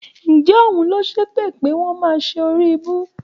Ǹjẹ́ òun ló ṣépè pé wọ́n máa ṣe oríibú?